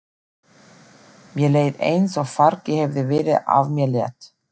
Mér leið eins og fargi hefði verið af mér létt.